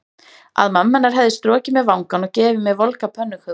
Að mamma hennar hefði strokið mér vangann og gefið mér volgar pönnukökur.